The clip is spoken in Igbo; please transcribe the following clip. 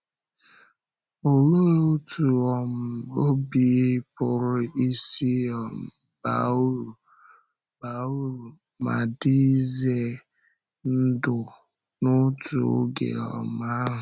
Olee otú um ọ̀bì pụrụ isi um baa uru baa uru ma dị ize ndụ n’otu oge um ahụ?